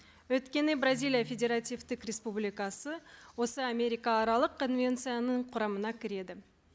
өйткені бразилия федеративтік республикасы осы америкааралық конвенцияның құрамына кіреді